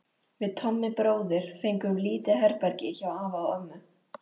Við Tommi bróðir fengum lítið herbergi hjá afa og ömmu.